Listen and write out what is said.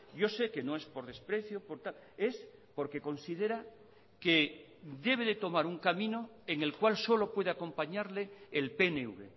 yo sé que no es por desprecio es porque considera que debe de tomar un camino en el cual solo puede acompañarle el pnv